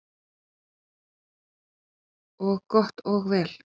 Og gott og vel.